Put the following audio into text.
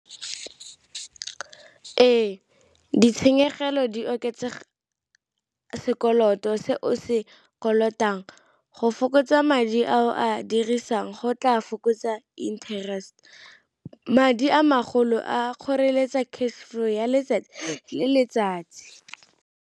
Ee, ditshenyegelo di oketsa sekoloto se o se kolotang, go fokotsa madi a o a dirisang go tla fokotsa interest. Madi a magolo a kgoreletsa cash flow ya letsatsi le letsatsi.